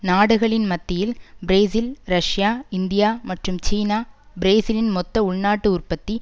நாடுகளின் மத்தியில் Brazil Russia India மற்றும் சீனா பிரேசிலின் மொத்த உள்நாட்டு உற்பத்தி